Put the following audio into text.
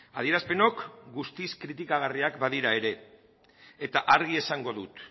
adierazpenok guztiz kritikagarriak badira ere eta argi esango dut